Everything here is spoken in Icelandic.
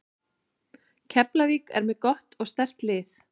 Keflavík er með gott og sterkt lið.